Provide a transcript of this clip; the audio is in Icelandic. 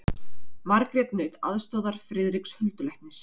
Margrét naut aðstoðar Friðriks huldulæknis.